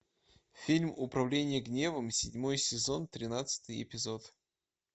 фильм управление гневом седьмой сезон тринадцатый эпизод